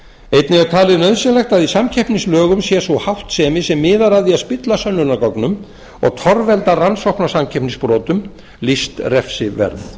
einnig er talið nauðsynlegt að í samkeppnislögum sé sú háttsemi sem miðar að því að spilla sönnunargögnum og torvelda rannsókn á samkeppnisbrotum lýst refsiverð